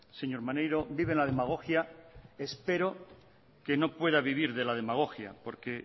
señor maneiro vive en la demagogia espero que no pueda vivir de la demagogia porque